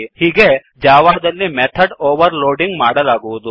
ಹೀಗೆ ಜಾವಾದಲ್ಲಿ method overloading ಮಾಡಲಾಗುವುದು